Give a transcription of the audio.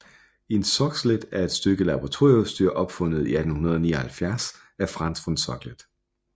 En Soxhlet er et stykke laboratorieudstyr opfundet i 1879 af Franz von Soxhlet